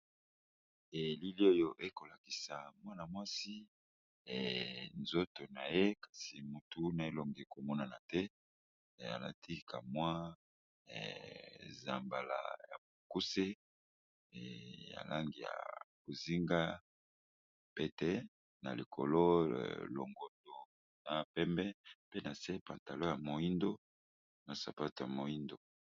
elile oyo ekolakisa mwana mwasi e nzoto na ye kasi motuna elonge komonana te eyalatika mwa zambala ya mokuse ya langi ya bozinga pete na likolo longodo na pembe pe na se pantalo ya moindo na sapate ya moindo